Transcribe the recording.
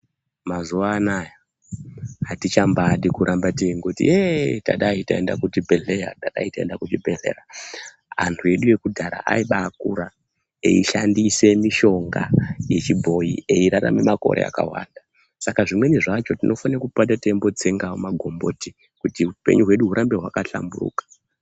Mazuwa anaya atichambaadi kuramba teingoti yeee tadai taenda kuchibhedhleya, tadai taenda kuchibhedhleya. Antu edu ekudhara aibaakura eishandise mishonga yechibhoyi eirarame makore akawanda. Saka zvimweni zvacho tinofane kupota teimbotsengawo magomboti kuti upenyu hwedu hurambe hwakahlamburuka.